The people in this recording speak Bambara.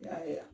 N y'a ye